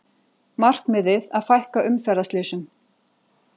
Markmiðið að fækka umferðarslysum